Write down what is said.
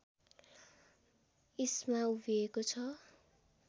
इस्मा उभिएको छ